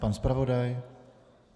Pan zpravodaj?